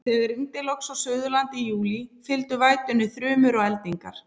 Þegar rigndi loks á Suðurlandi í júlí, fylgdu vætunni þrumur og eldingar.